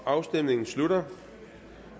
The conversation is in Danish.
afstemningen slutter